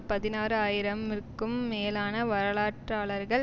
பதினாறு ஆயிரம் இற்கும் மேலான வரலாற்றாளர்கள்